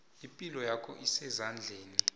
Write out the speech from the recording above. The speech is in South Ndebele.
ipilo yakho isezandleni